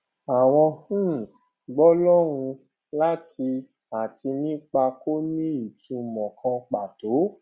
àwọn um gbólóhùn lati àti nípa kò ní ìtumò kan pàtó